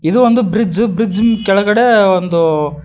ಇದು ಒಂದು bridge bridge ಇನ್ ಕೆಳಗಡೆ ಒಂದು--